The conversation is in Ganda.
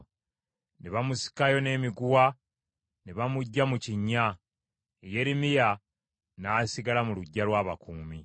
Ne bamusikayo n’emiguwa ne bamuggya mu kinnya. Yeremiya n’asigala mu luggya lw’abakuumi.